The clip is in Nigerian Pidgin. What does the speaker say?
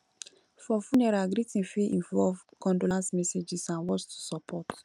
for funeral greeting fit involve condolence messages and words to support